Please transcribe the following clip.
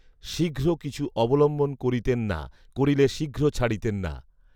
শীঘ্র কিছু অবলম্বন করিতেন না, করিলে শীঘ্ৰ ছাড়িতেন না